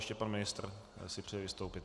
Ještě pan ministr si přeje vystoupit.